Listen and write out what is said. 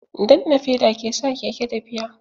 Danna feda ke sa keke tafiya.